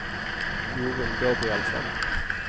Jorun Gabrielsen